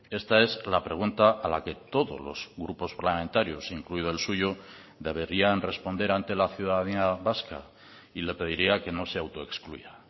esta es la pregunta a la que todos los grupos parlamentarios incluido el suyo deberían responder ante la ciudadanía vasca y le pediría que no se autoexcluya